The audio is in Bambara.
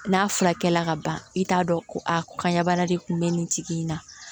N'a furakɛli la ka ban i t'a dɔn ko a ko kanɲa bana de kun bɛ nin tigi in na